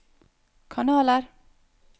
kanaler